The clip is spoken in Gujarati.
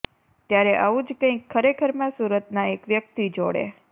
ત્યારે આવું જ કંઇક ખરેખરમાં સુરતના એક વ્યક્તિ જોડે